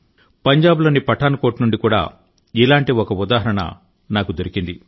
పంజాబ్లోని పఠాన్కోట్ నుండి కూడా ఇలాంటి ఒక ఉదాహరణ నాకు దొరికింది